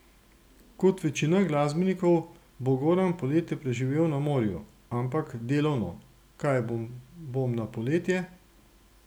Kot večina glasbenikov bo Goran poletje preživel na morju, ampak delovno: "Kaj bom na poletje?